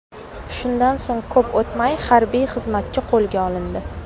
Shundan so‘ng ko‘p o‘tmay harbiy xizmatchi qo‘lga olindi.